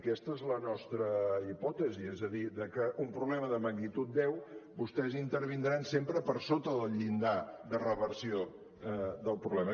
aquesta és la nostra hipòtesi és a dir que en un problema de magnitud deu vostès intervindran sempre per sota del llindar de reversió del problema